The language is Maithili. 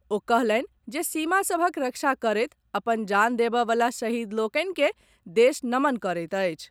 ओ कहलनि जे सीमा सभक रक्षा करैत अपन जान देबय वला शहीद लोकनि के देश नमन करैत अछि।